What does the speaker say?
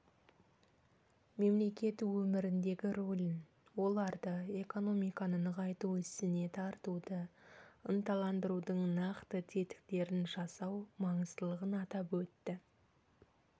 мемлекет өміріндегі рөлін оларды экономиканы нығайту ісіне тартуды ынталандырудың нақты тетіктерін жасау маңыздылығын атап өтті